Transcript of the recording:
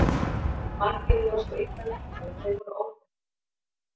Margir voru svo illa leiknir að þeir voru óþekkjanlegir.